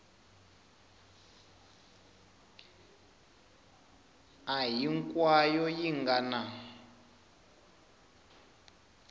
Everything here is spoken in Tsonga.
a hinkwayo yi nga na